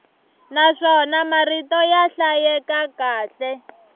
naswona marito ya hlayeka kahle